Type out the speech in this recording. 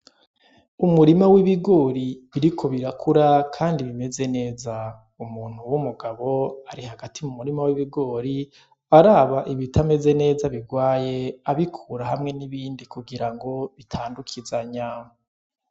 Umurima w'ibigori biriko birakura kandi bimeze neza. Umuntu w'umugabo ari hagati mu murima w'ibigori araba ibitameze neza, birwaye, araba ko bitandukizanya.